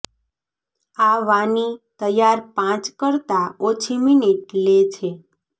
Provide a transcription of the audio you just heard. આ વાની તૈયાર પાંચ કરતાં ઓછી મિનિટ લે છે